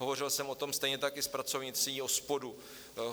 Hovořil jsem o tom stejně tak i s pracovnicí OSPODu.